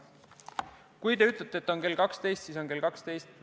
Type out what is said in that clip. Kui te ütlete, et on kell 12, siis on kell 12.